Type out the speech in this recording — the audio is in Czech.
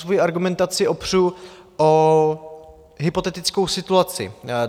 Svoji argumentaci opřu o hypotetickou situaci.